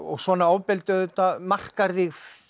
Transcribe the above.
svona ofbeldi auðvitað markar þig